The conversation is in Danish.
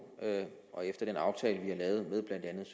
og efter den aftale vi har lavet med blandt andet